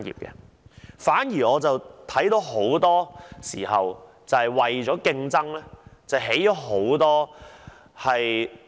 我反而看到很多時候是為了競爭，便興建眾多......